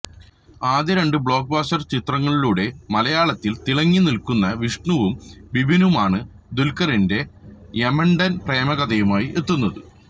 ആദ്യ രണ്ടു blockbuster ചിത്രങ്ങളിലൂടെ മലയാളത്തില് തിളങ്ങിനില്ക്കുന്ന വിഷ്ണുവും ബിബിനുമാണ് ദുല്ഖറിന്െറെ യമണ്ടന് പ്രേമകഥയുമായി എത്തുന്നത്